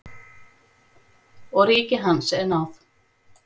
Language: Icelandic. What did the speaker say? Og ríki hans er náð.